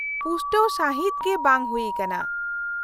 -ᱯᱩᱥᱴᱟᱹᱣ ᱥᱟᱹᱦᱤᱫ ᱜᱮ ᱵᱟᱝ ᱦᱩᱭᱟᱠᱟᱱᱟ ᱾